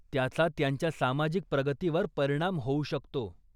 त्याचा त्यांच्या सामाजिक प्रगतीवर परिणाम होऊ शकतो.